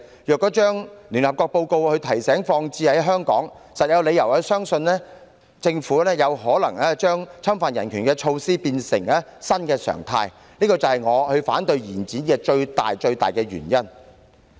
如把聯合國報告的提醒代入香港的情況，實在有理由相信政府有可能想把侵犯人權的措施變成新常態，這是我反對延展修訂期限的最大原因。